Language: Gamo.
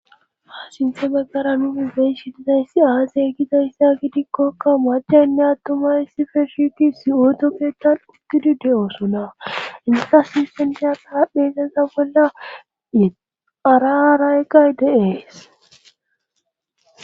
ha sinthe baggara nuni bey shi dizayssi aazey gidayssa gidikkokka maachaynne attumay sife shiti si7ooto keettal ugidi de7osona insata sinstenchas haapheseza bolla ararayqay deees